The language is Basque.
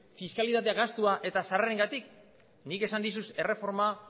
fiskalidadea gastua eta sarrerengatik nik esan dizut erreforma